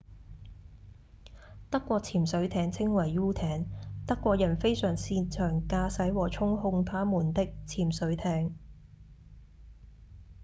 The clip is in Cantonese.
德國潛水艇稱為「u 艇」德國人非常擅長駕駛和操控他們的潛水艇